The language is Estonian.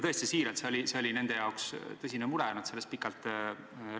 Kinnitan, et see on nende jaoks tõsine mure, nad rääkisid sellest pikalt.